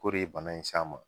K'o de ye bana in s'a ma.